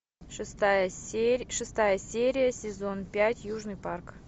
шестая серия сезон пять южный парк